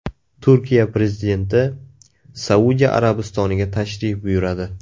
Turkiya prezidenti Saudiya Arabistoniga tashrif buyuradi.